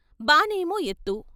బానేమో ఎత్తు.